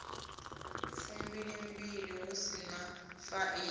fumbilimbili hu si na faini